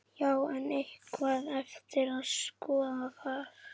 Já, en er eitthvað eftir að skoða þar?